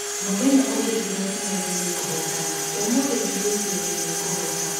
Mũthenya ũngĩ ndĩreciragia nĩngũhotana, ũmũthĩ ndĩgwĩciragia nĩngũhota